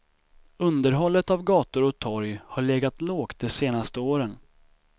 Underhållet av gator och torg har legat lågt de senaste åren.